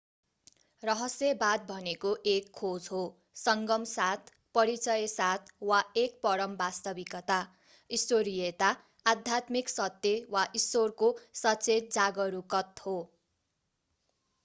रहस्यवाद भनेको एक खोज हो संगम साथ परिचय साथ वा एक परम वास्तविकता ईश्वरीयता आध्यात्मिक सत्य वा ईश्वरको सचेत जागरूकत हो